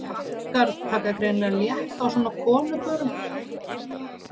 Frakkar taka greinilega létt á svona konubörum.